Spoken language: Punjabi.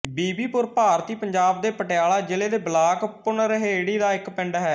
ਬੀਬੀਪੁਰ ਭਾਰਤੀ ਪੰਜਾਬ ਦੇ ਪਟਿਆਲਾ ਜ਼ਿਲ੍ਹੇ ਦੇ ਬਲਾਕ ਭੁਨਰਹੇੜੀ ਦਾ ਇੱਕ ਪਿੰਡ ਹੈ